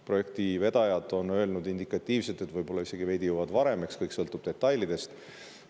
Projekti vedajad on öelnud indikatiivselt, et võib-olla nad jõuavad valmis isegi veidi varem, kõik sõltub detailidest.